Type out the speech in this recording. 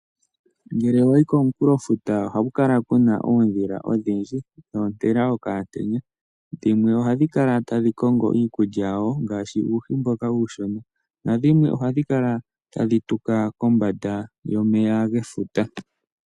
Ngele wayi komunkulofuta ohaku kala ku na oondhila odhindji dhontela okamutenya, dhimwe ohadhi kala tadhi kongo iikulya yadho ngaashi uuhi mboka uushona nadhimwe ohadhi kala tadhi tuka kombanda yomeya gefuta.